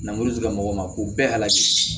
Langoro tigilamɔgɔw ma ko bɛɛ la